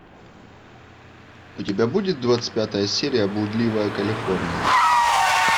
у тебя будет двадцать пятая серия блудливая калифорния